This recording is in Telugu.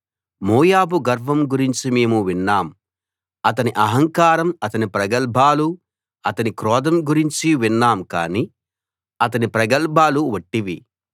మోయాబు గర్వం గురించి మేము విన్నాం అతని అహంకారం అతని ప్రగల్భాలు అతని క్రోధం గురించి విన్నాం కానీ అతని ప్రగల్భాలు వట్టివి